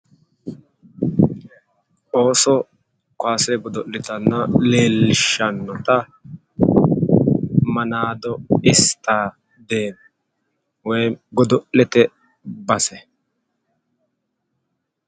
ooso godo'litanna leellishshannota manaado istadeeme woyi godo'lete base.